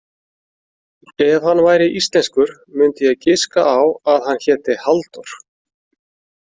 Ef hann væri íslenskur myndi ég giska á að hann héti Halldór.